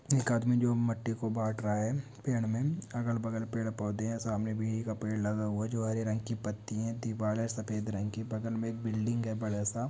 एक आदमी जो मिट्टी को बाँट रहा है पेड़ में अगल-बगल पेड़-पौधे है सामने भी एक पेड़ लगा हुआ है जो हरे रंग की पती है बगल में बिल्डिंग है बड़ा सा--